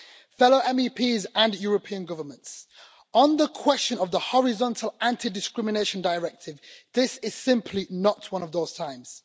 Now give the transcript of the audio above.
Fellow MEPs and European governments on the question of the Horizontal Anti Discrimination Directive, this is simply not one of those times.